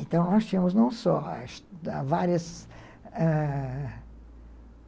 Então, achamos não só, várias, ãh...